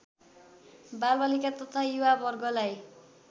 बालबालिका तथा युवा वर्गलाई